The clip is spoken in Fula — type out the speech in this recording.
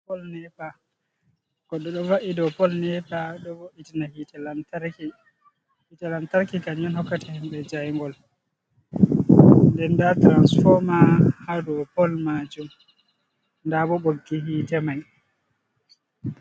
Goɗɗo ɗo va’i do pol nepa, ɗo vo'itina hiite lantarki, ka yum hokkata himɓe jaingol, den nda tiransfoma haa doo pol maajum nda bo ɓoggi hiite mai.